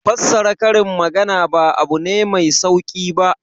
Fassara karin magana ba abu ne mai sauki ba.